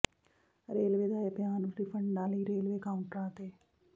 railway ਦਾ ਇਹ ਬਿਆਨ ਰਿਫੰਡਾਂ ਲਈ ਰੇਲਵੇ ਕਾਊਂਟਰਾਂ ਤੇ